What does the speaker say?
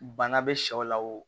Bana bɛ sɛw la o